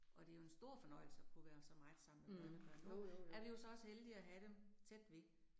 Og det jo en stor fornøjelse at kunne være så meget sammen med børnebørn, nu er vi jo så også heldige at have dem tæt ved